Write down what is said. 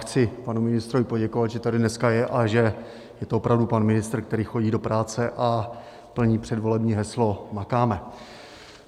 Chci panu ministrovi poděkovat, že tady dneska je a že to je opravdu pan ministr, který chodí do práce a plní předvolební heslo "Makáme".